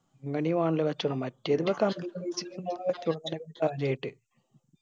അങ്ങനെയു മറ്റേത് പിന്നെ അങ്ങനൊക്കെ കാര്യായിട്ട്